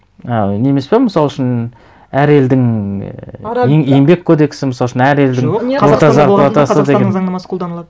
ы не емес пе мысал үшін әр елдің ыыы еңбек кодексі мысал үшін әр елдің қазақстанның заңнамасы қолданылады